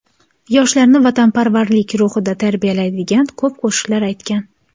Yoshlarni vatanparvarlik ruhida tarbiyalaydigan ko‘p qo‘shiqlar aytgan.